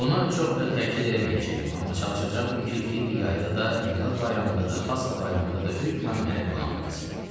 Buna çox da təkid eləməyəcəkdim, amma çalışacaqdım ki, Fibbi yayda da, Milad bayramında da, Pasxa bayramında da hökmən mənə qonaq gəlsin.